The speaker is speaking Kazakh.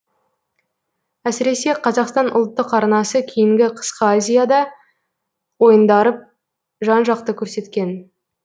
әсіресе қазақстан ұлттық арнасы кейінгі қысқы азиада ойындарып жан жақты көрсеткен